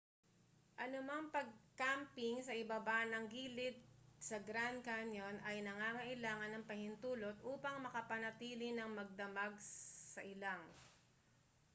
anumang pag-camping sa ibaba ng gilid sa grand canyon ay nangangailangan ng pahintulot upang makapanatili nang magdamag sa ilang